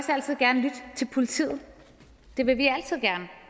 altid gerne lytte til politiet det vil vi altid gerne